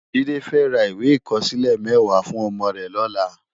Jide fè rá iwé ikòsilè mèwá fún òmò rè lòlá